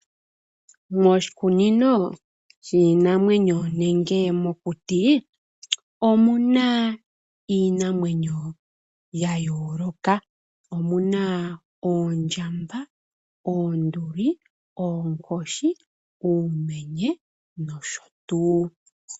Moshikunino shiinamwenyo nenge mokuti omuna iinamwenyo ya yooloka. Omuna oondjamba, oonduli, oonkoshi, uumenye nosho tuu.